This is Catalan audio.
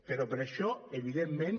però per això evidentment